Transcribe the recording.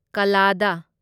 ꯀꯜꯂꯥꯗꯥ